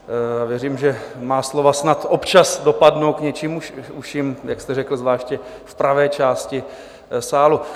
Věřím, že má slova snad občas dopadnou k něčím uším, jak jste řekl, zvláště v pravé části sálu.